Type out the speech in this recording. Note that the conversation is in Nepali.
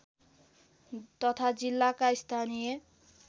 तथा जिल्लाका स्थानीय